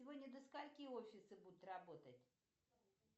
сегодня до скольки офисы будут работать